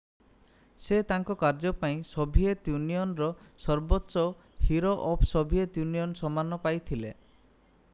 ସେ ତାଙ୍କ କାର୍ଯ୍ୟ ପାଇଁ ସୋଭିଏତ୍ ୟୁନିଅନ୍‌ର ସର୍ବୋଚ୍ଚ ହିରୋ ଅଫ୍ ସୋଭିଏତ୍ ୟୁନିଅନ୍ ସମ୍ମାନ ପାଇଥିଲେ।